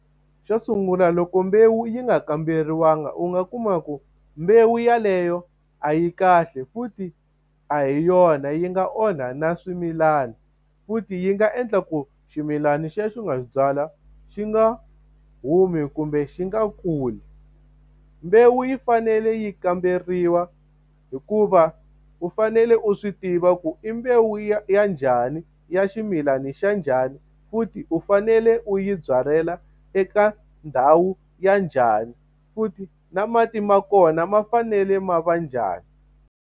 Xo sungula loko mbewu yi nga kamberiwangi u nga kuma ku mbewu yeleyo a yi kahle, futhi a hi yona. Yi nga onha na swimilana. Futhi yi nga endla ku ximilana lexi u nga xi byala xi nga humi kumbe xi nga kuli. Mbewu yi fanele yi kamberiwa hikuva u fanele u swi tiva ku i mbewu ya ya njhani ya ximilana xa njhani, futhi u fanele u yi byalela eka ndhawu ya njhani. Futhi na mati ma kona ma fanele ma va njhani.